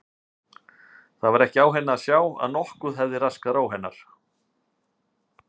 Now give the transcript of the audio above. Það var ekki á henni að sjá að nokkuð hefði raskað ró hennar.